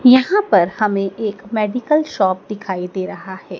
यहां पर हमें एक मेडिकल शॉप दिखाई दे रहा है।